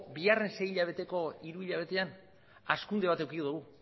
sei hilabeteko hiru hilabetean hazkunde bat eduki dugu